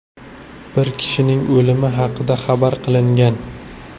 Bir kishining o‘limi haqida xabar qilingan.